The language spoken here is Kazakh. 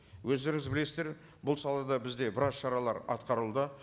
өздеріңіз білесіздер бұл салада бізде біраз шаралар атқарылды